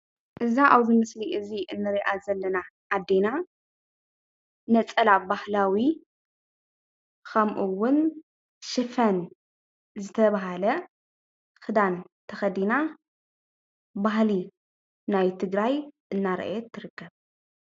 እዛ ኣብዚ ምስሊ ንሪኣ ዘለና ኣዴና ነፀላ ባህላዊ ከምኡ ውን ሽፈን ዝተባሃለ ክዳን ተከዲና ባህሊ ናይ ትግራይ እናርአየት ትርከብ።